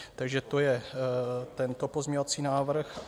Takže to je tento pozměňovací návrh.